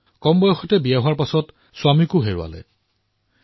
কম বয়সতেই বিয়া হোৱাৰ পিছত স্বামীকো হেৰুৱাবলগীয়া হয়